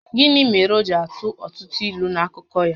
Gịnị mèrè o ji atụ ọtụtụ ílú n’akụkọ ya?